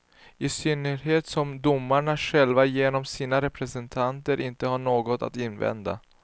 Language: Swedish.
I synnerhet som domarna själva genom sina representanter inte har något att invända.